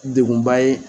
Degunba ye